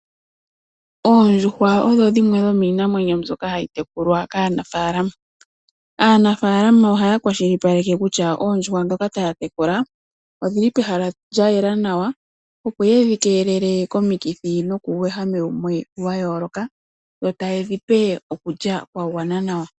Oondjuhwa odho dhimwe dhomiinamwenyo mbyoka hayi tekulwa kaanafalama. Aanafalama ohaa kwashilipaleke kutya oondjuhwa ndhoka taatekula odhili pehala lya yela nawa , opo yedhi keelele komikithi nokuuwehame wumwe wayooloka dho tayedhi pe okulya kwa gwana nawa.